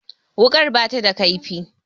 Wuƙar ba ta da ƙaifi